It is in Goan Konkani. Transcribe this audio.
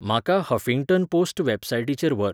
म्हाका हफिंग्टन पोस्ट वॅबसायटीचेर व्हर